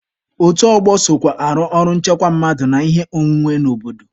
Otu ọgbọ sokwa arụ ọrụ nchekwa mmadụ na ihe ọnwụnwe n'obodo.